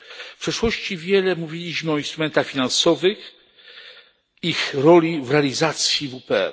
W przeszłości wiele mówiliśmy o instrumentach finansowych, ich roli w realizacji WPR.